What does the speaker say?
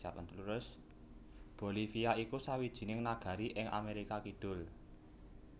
Bolivia iku sawijining nagari ing Amerika Kidul